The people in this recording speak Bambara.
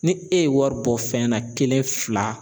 Ni e ye wari bɔ fɛn na kelen fila